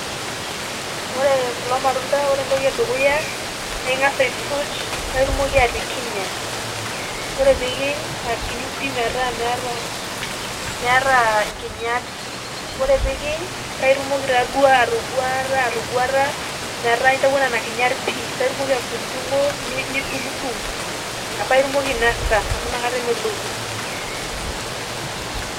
Ore kulo matunda ,ore entoki edukuya, na ing'asa aisuj, paitumoki atikinya. Ore pikiny, akinyu pi metaa meeta meeta inkinyat, ore pikiny paitumoki taduo atoguata atoguata, metaa intauo nena kinyat pii. Paitumoki atudung'udung'o, nidung'udung',paitumoki ainasa amu nakata emeloku.